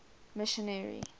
missionary